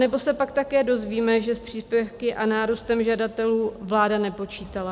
Anebo se pak také dozvíme, že s příspěvky a nárůstem žadatelů vláda nepočítala?